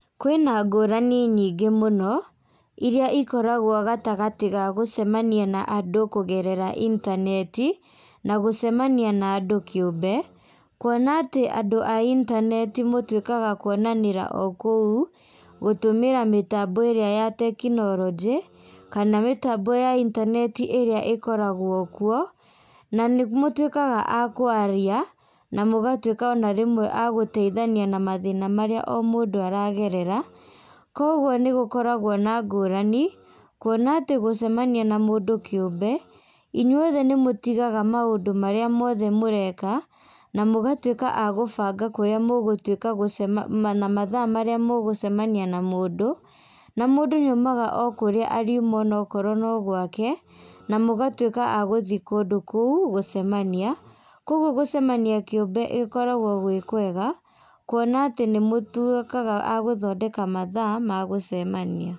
Kwĩna ngũrani nyĩngĩ mũno ĩrçĩa ĩkoragwo gatagatĩ gaĩ, gũcemania na andũ kũgerera intaneti na gúũcemania na andũ kĩumbe. Kũona andũ a intaneti mũtũĩkaga kũonanĩra oo koũ, gũtũmira mĩtambo ĩrĩa ya teknolonjĩ ,kana mĩtambo ya intaneti ĩrĩa ĩkoragwo koũ na nĩ mũtũĩkaga a kwarĩa na mũgatũika ona rĩmwe a gũteĩthania na mathĩna marĩa mũndũ aragerera. Kogwo nĩgũkoragwo na ngũranĩ kũona atĩ gũcemania na mũndũ kĩumbe ,ĩnyũi othe nĩ mũtigaga maũndũ marĩa mothe mũreka na mũgatũika a gũbanga kũrĩa mũgũtuĩka gũcemania na mathaa marĩa mũgũcemania na mũndũ, na mũndũ nĩ aũmaga oo kũrĩa arĩuma ona korwo no gwake na mũgatwĩka a gũthĩi kũndũ koũ gũcemania. Korwo gũcemania kĩumbe gokaragwo gwĩ kwega kwona atĩ nĩ mũtũikaga a gũthondeka mathaa ma gũcemanĩa.